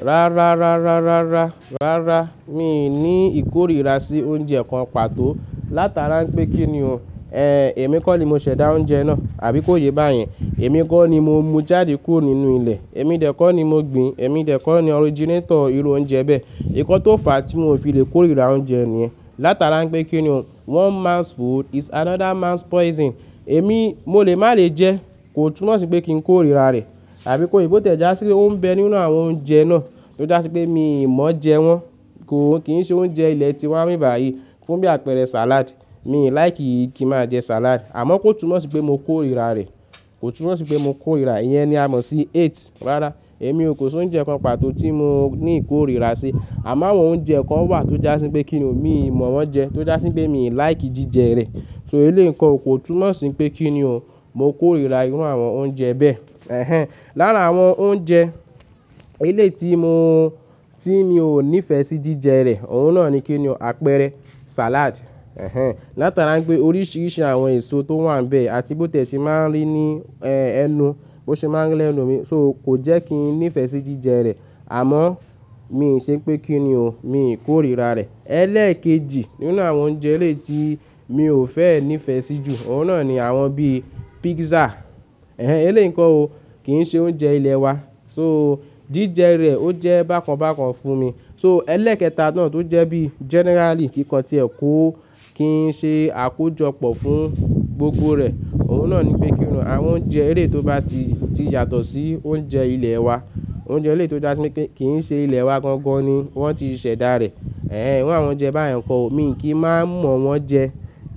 Rárá, rárá, rárá, rárá. Mi ò ní ìkórìíra sí oúnjẹ kan pàtó látara pé kí ni o, ẹ, èmi kọ́ ni mo ṣẹ̀dá oúnjẹ náà àbí kó ye bá yẹn. Èmi kọ́ ni mo mú jáde kúrò nínú ilẹ̀. Èmi dẹ̀ kọ́ ni mo gbin. Èmi dẹ̀ kọ́ ni originator irú oúnjẹ bẹ́ẹ̀. Nkan tó fàá tí mò fi lè kórìíra oúnjẹ nìyẹn látara nipé kí ni o, one man's food is another man's poison. Èmi, mo lè má lè jẹ́, kò túnmọ̀ sí pé kí n kórìíra rẹ̀ àbí kó ye, bò tiẹ̀já sí pé ó ń bẹ nínú àwọn oúnjẹ náà tó já sí pé mi ò mọ jẹ wọ́n. Kò, kì í ṣe oúnjẹ ilẹ̀ tiwa ní ìbibà yìí. Fún bí àpẹẹrẹ salad, mi ò like kí n màá jẹ salad. Àmọ́ kò túnmọ̀ sí pé mo kórìíra rẹ̀. Kò túnmọ̀ sí pé mo kórìíra e. Ìyẹn ni a mọ̀ sí hate. Rárá, èmi ò, kó si oúnjẹ kan pàtó tí mò ní ìkórìíra sí. Àmọ́ àwọn oúnjẹ kan wà tó já sí pé kí ni o, mi ò mọ̀ wọ́n jẹ tó já sí pé mi ò like jíjẹ rẹ̀. So eléyìí n ko o, kò túnmọ̀ sí pé kí ni o, mo kórìíra irú àwọn oúnjẹ bẹ́ẹ̀. Ẹ̀hẹn. Lára àwọn oúnjẹ eléyìí tí mo, tí mi ò nífẹ̀ẹ́ sí jíjẹ rẹ̀, òun náà ni kí ni o, àpẹẹrẹ, salad. Ẹ̀hẹn. Látara pé oríṣìíríṣìí àwọn èso tó wà níbẹ̀, àti bó tiẹ̀ ṣe máa ń rí ní, ẹ, ẹnu, bó ṣe máa ń ri lẹ́nu mi. So kò jẹ́ kí n nífẹ̀ẹ́ sí jíjẹ rẹ̀. Àmọ́ mi ò ṣe pé kí ni o, mi ì kórìíra rẹ̀. Ẹlẹ́ẹ̀kejì nínú àwọn oúnjẹ eléyìí tí mi ò fẹ́ nífẹ̀ẹ́ sí jù, òun náà ni àwọn bí pizza. Ẹ̀hẹn, eléyìí n ko ò, kì í ṣe oúnjẹ ilẹ̀ wa. So jíjẹ rẹ̀ ó jẹ́ bákan bákan fún mi. So ẹlẹ́ẹ̀kẹta náà tó jẹ́ bí generally kí'kan tí ẹ kó kí ṣe àkójọpọ̀ fún gbogbo rẹ̀, òun náà ni pé kí ni o, àwọn oúnjẹ eléyìí tó bá ti, ti yàtọ̀ sí oúnjẹ ilẹ̀ wa. Oúnjẹ eléyìí tó ba je pé kí, kì í ṣe ilẹ̀ wa gangan ni wọ́n ti ṣẹ̀dá rẹ̀. Ẹ̀hẹn, iru àwọn oúnjẹ báyìí nǹkan ò, mi kì í máa mọ̀ wọ́n jẹ,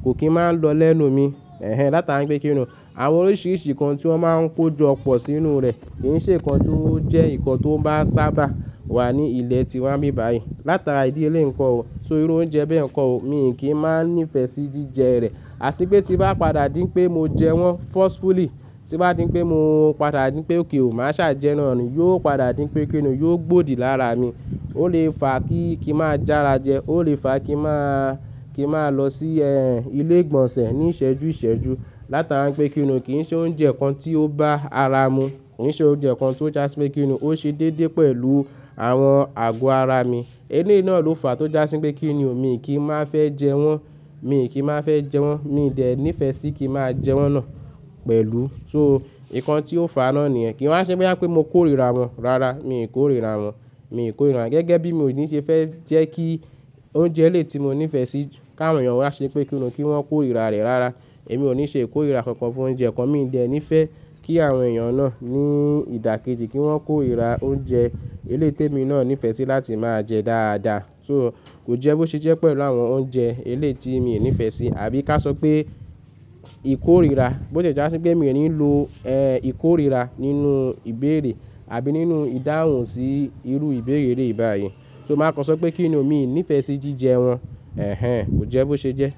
kò kí ń máa ń lọ lẹ́nu mi. Ẹ̀hẹn, látara pé kí ni o, àwọn oríṣìíríṣìí nkan tí wọ́n máa ń kojọpọ̀ sínú rẹ̀ kì í ṣe nǹkan tó jẹ́ nǹkan tó bá sábà wà ní ilẹ̀ tiwa nbìbàyìí látara ìdí eléyìí nǹkan ò. So irú oúnjẹ bẹ́ẹ̀ nko ò, mi kì í máa nífẹ̀ẹ́ sí jíjẹ rẹ̀. Àti pé tí bá padà di pé mo jẹ wọ́n forcefully, tí bá di pé mo padà di pé okay o, màá ṣàjẹ́ náà ni, yóò padà di pé kí ni o, yóò gbòdì lára mi. Ó lè fàá kí, kí màá jára jẹ. Ó lè fàá kí màá, kí màá lọ sí ẹ, ilé ìgbọ̀nsẹ̀ ní ìṣẹ́jú ìṣẹ́jú látara pé kí ni o, kì í ṣe oúnjẹ kan tí ó bá ara mu. Kì í ṣe oúnjẹ kan tó já sí pé kí ni o, ó ṣe déédéé pẹ̀lú àwọn àgọ́ ara mi. Eléyìí náà ló fàá tó já sí pé kí ni o, mi kì í máa fẹ́ jẹ wọ́n. Mi kì í máa fẹ́ jẹ wọ́n. Mi ò dẹ̀ ní ìfẹ́ sí kí màá jẹ wọ́n náà pẹ̀lú. So nkàn tí ó fàá náà ni yen. Kìí wá ṣe boya pé mo kórìíra wọ́n. Rárá, mi ò kórìíra wọ́n. Mi ò kórìíra. Gẹ́gẹ́ bí mò ní ṣe fẹ́ jẹ́ kí oúnjẹ eléyìí tí mo nífẹ̀ẹ́ sí káwọn èèyàn wá ṣe pé kí ni o, kí wọ́n kórìíra rẹ̀. Rárá, èmi ò ní ṣe kórìíra kankan fún oúnjẹ kan. Mi ò jẹ̀ ní ìfẹ́ kí àwọn èèyàn náà ní ìdàkejì kí wọ́n kórìíra oúnjẹ eléyìí tí èmi náà nífẹ̀ẹ́ sí láti máa jẹ dáadáa. So kò jẹ́ bó ṣe jẹ́ pẹ̀lú àwọn oúnjẹ eléyìí tí mi ni nífẹ̀ẹ́ sí. Àbí ká ṣọ pé ìkórìíra, bó ti ẹ̀ já sí pé mi ò ní ń lo, ẹ, ìkórìíra nínú ìbéèrè àbí nínú ìdáhùn sí irú ìbéèrè eleyi bàyìí. So màá kọ sọ pé kí ni o, mi nífẹ̀ẹ́ sí jíjẹ wọ́n. Ẹ̀hẹn, kò jẹ́ bó ṣe jẹ́.